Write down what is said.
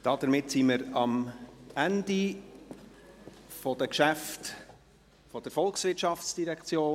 Damit sind wir am Ende der Geschäfte der VOL angelangt.